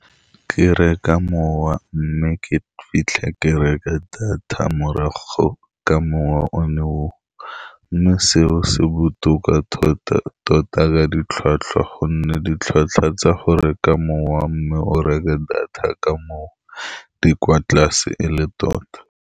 Ke reka mowa, mme ke fitlhe ke reke data morago ka mowa o ne oo, mme seo se botoka tota-tota ka ditlhwatlhwa, ka gonne ditlhwatlhwa tsa go reka mowa, mme o reke data ka moo di kwa tlase e le tota.